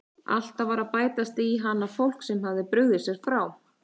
Alltaf var að bætast inn í hana fólk sem hafði brugðið sér frá.